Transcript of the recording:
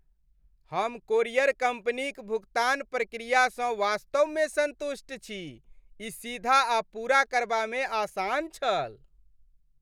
हम कोरियर कम्पनीक भुगतान प्रक्रियासँ वास्तवमे सन्तुष्ट छी। ई सीधा आ पूरा करबामे आसान छल।